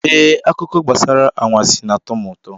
Ee, akụkọ gbasara anwansị na-atọ m ụtọ.